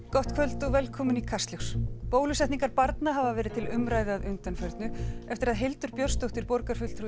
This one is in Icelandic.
gott kvöld og velkomin í Kastljós bólusetningar barna hafa verið talsvert til umræðu að undanförnu eftir að Hildur Björnsdóttir borgarfulltrúi